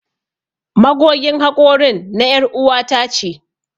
Magogin hakorin na er'uwa ta ce.